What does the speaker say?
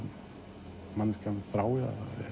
manneskjan þrái